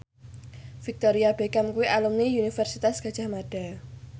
Victoria Beckham kuwi alumni Universitas Gadjah Mada